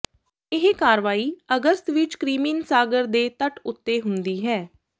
ਇਹ ਕਾਰਵਾਈ ਅਗਸਤ ਵਿਚ ਕ੍ਰਿਮੀਨ ਸਾਗਰ ਦੇ ਤੱਟ ਉੱਤੇ ਹੁੰਦੀ ਹੈ